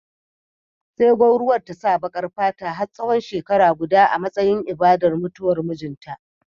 Sai gwauruwar ta sa baƙar fata har tsawon shekara guda a matsayin ibadar mutuwar mijinta